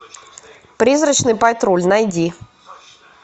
призрачный патруль найди